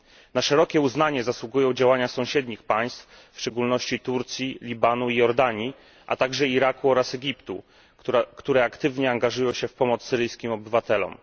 Na szerokie uznanie zasługują działania sąsiednich państw, w szczególności Turcji, Libanu i Jordanii, a także Iraku oraz Egiptu, które aktywnie angażują się w pomoc syryjskim obywatelom.